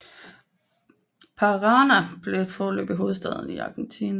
Parana blev foreløbig hovedstad for Argentina